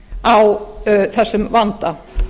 á þessum vanda